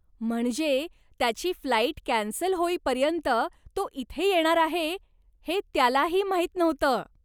म्हणजे, त्याची flight cancel होईपर्यंत तो इथे येणार आहे हे त्यालाही माहीत नव्हतं.